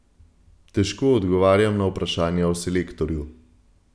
Težko odgovarjam na vprašanja o selektorju.